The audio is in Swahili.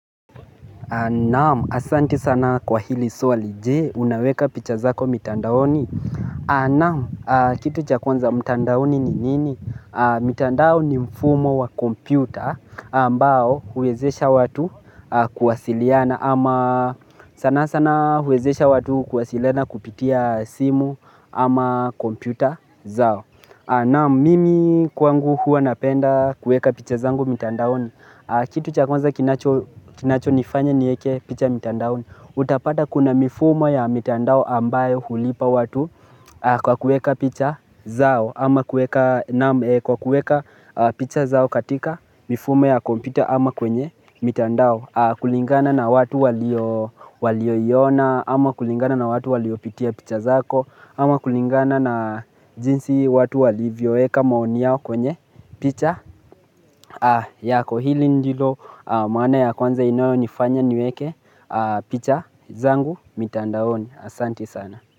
Naamu, asanti sana kwa hili swali je, unaweka picha zako mitandaoni?. Naamu, aa kitu cha kwanza mitandaoni ni nini? Mitandaoni mfumo wa kompyuta, ambao huwezesha watu kuwasiliana, ama sana sana huwezesha watu kuwasiliana kupitia simu, ama kompyuta zao. Naam mimi kwangu hua napenda kueka picha zangu mitandaoni kitu cha kwanza kinacho nifanya nieke picha mitandaoni Utapata kuna mifumo ya mitandao ambayo hulipa watu kwa kueka picha zao ama kueka naam ee kwa kueka picha zao katika mifumo ya kompyuta ama kwenye mitandao kulingana na watu walioiona ama kulingana na watu waliopitia picha zako ama kulingana na jinsi watu walivyo eka maoni yao kwenye picha yako hili ndilo maana ya kwanza inayo nifanya niweke picha zangu mitandaoni asanti sana.